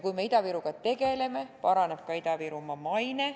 Kui me Ida-Viruga tegeleme, paraneb ka Ida-Virumaa maine.